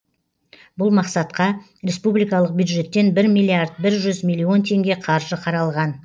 бұл мақсатқа республикалық бюджеттен бір миллиард бір жүз миллион теңге қаржы қаралған